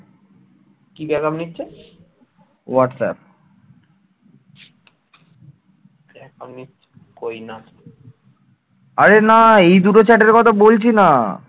আরে না এই দুটো chat র কথা বলছি না